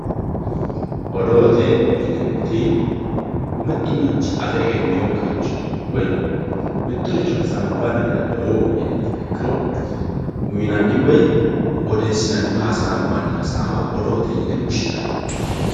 odoote yineemmoti mittu manchi afe egenninokkiricho woy mittoricho hasaambanna daye odoo uyiiye''e yiiha ikkiro uyiinanni woy odeessinanni woyi hasaambanni hasaawa odoote yine woshshinanni.